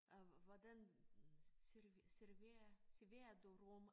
Og hvordan serverer serverer serverer du rom